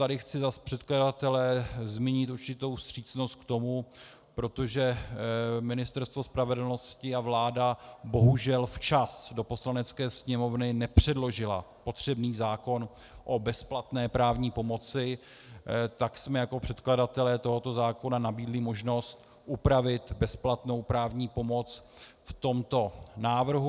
Tady chci za předkladatele zmínit určitou vstřícnost k tomu, protože Ministerstvo spravedlnosti a vláda bohužel včas do Poslanecké sněmovny nepředložily potřebný zákon o bezplatné právní pomoci, tak jsme jako předkladatelé tohoto zákona nabídli možnost upravit bezplatnou právní pomoc v tomto návrhu.